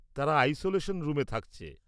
তারা আইসোলেশন রুমে থাকছে।